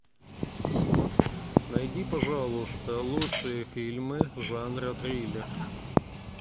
найди пожалуйста лучшие фильмы жанра триллер